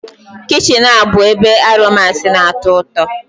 Kichin a bụbu ebe aromas na-atọ ụtọ